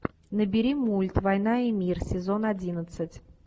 набери мульт война и мир сезон одиннадцать